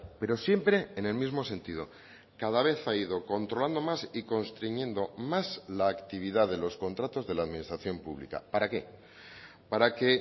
pero siempre en el mismo sentido cada vez ha ido controlando más y constriñendo más la actividad de los contratos de la administración pública para qué para que